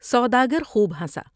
سودا گر خوب ہنسا ۔